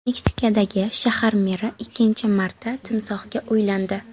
Meksikadagi shahar meri ikkinchi marta timsohga uylandi.